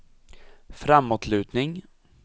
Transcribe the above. framåtlutning